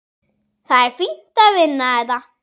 Það er fínt að vinna þetta.